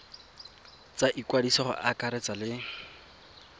tsa ikwadiso go akaretsa le